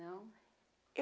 Não?